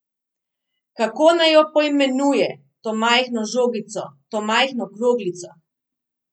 Kako naj jo poimenuje, to majhno žogico, to majhno kroglico?